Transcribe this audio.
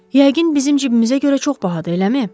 Yəqin bizim cibimizə görə çox bahadır, eləmi?